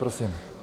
Prosím.